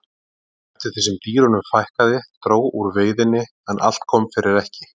Eftir því sem dýrunum fækkaði dró úr veiðinni en allt kom fyrir ekki.